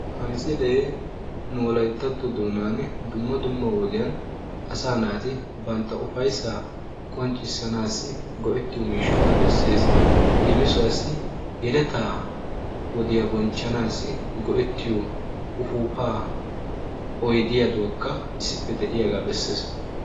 ha misilee nu wolayttatto doonan dumma dumma wodiyan asaa naati ufayissaa qonccissanaassi go'ettiyo miishshata besses. leemisuwaassi yeletaa wodiya bonchchanaassi go'ettiyo ufuufaa oyidiyaaduwakka issippe de'iyaga besses.